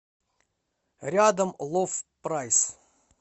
рядом лов прайс